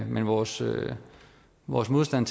men vores vores modstand